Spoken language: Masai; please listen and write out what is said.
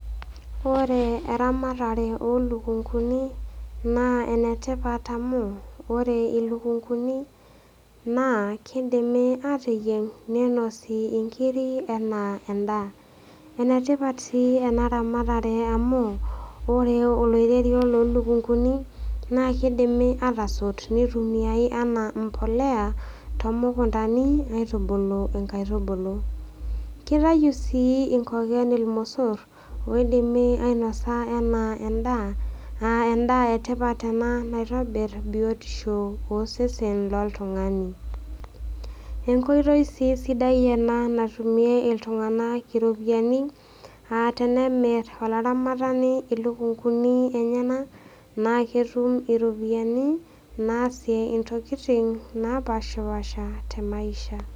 Ore eramatare oo ilukunguni naa enetipat amu ore ilukunguni naa keidimi ateyieng' neinosi inkiri anaa endaa. Enetipat sii ena ramatare amu, ore oloirerio loo ilukunguni naa keidimi atasot neitumiai anaa mbolea too mukuntani aitubulu inkaitubulu. Keitayu sii inkoken ilmosor oidimi ainosa anaa endaa, endaa e tipat ena naitobir biotisho osesen loltung'ani. Enkoitoi sii sidai ena natumie iltung'ana iropiani aa tenemir olaramatani ilukunguni enyena naa ketum iropiani naasie intokitin napaashipaasha te maisha.